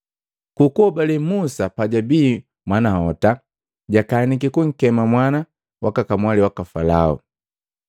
Ku kuhobale Musa pa jabii mwanahota, jakaniki kunkema mwana waka kamwali waka Falao.